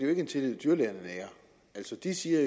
er en tillid dyrlægerne nærer altså de siger